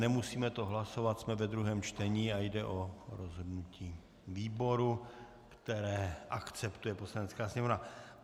Nemusíme to hlasovat, jsme ve druhém čtení a jde o rozhodnutí výboru, které akceptuje Poslanecká sněmovna.